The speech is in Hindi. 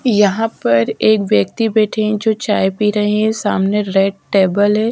यहाँ पर एक व्यक्ति बैठे है जो चाय पी रहे है सामने रेड टेबल है।